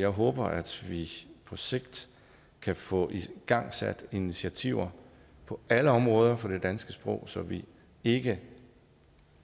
jeg håber at vi på sigt kan få igangsat initiativer på alle områder for det danske sprog så vi ikke